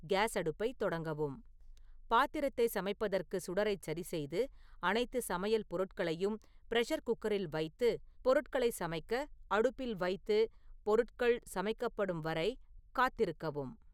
case அடுப்பை தொடங்கவும் பாத்திரத்தை சமைப்பதற்கு சுடரை சரிசெய்து அனைத்து சமையல் பொருட்களையும் பிரஷர் குக்கரில் வைத்து பொருட்களை சமைக்க அடுப்பில் வைத்து பொருட்கள் சமைக்கப்படும் வரை காத்திருக்கவும்